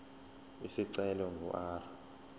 isicelo ingu r